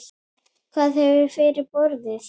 Hvað hefur fyrir borið?